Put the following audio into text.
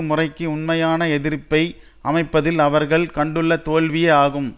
முறைக்கு உண்மையான எதிர்ப்பை அமைப்பதில் அவர்கள் கண்டுள்ள தோல்வியே ஆகும்